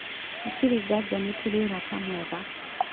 " Hatarĩ nganja nĩ tũrĩ ũrata mwega.